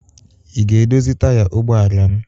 Ị ga-edozi taya ụgbọala m?